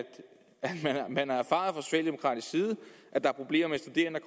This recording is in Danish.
man har erfaret at der er problemer med studerende